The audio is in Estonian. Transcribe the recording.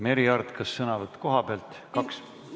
Merry Aart, kas sõnavõtt koha pealt?